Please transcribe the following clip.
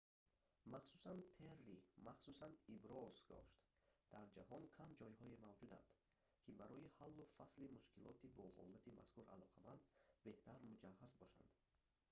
махсусан перри махсус иброз дошт дар ҷаҳон кам ҷойҳое мавҷуданд ки барои ҳаллу фасли мушкилоти бо ҳолати мазкур алоқаманд беҳтар муҷаҳҳаз бошанд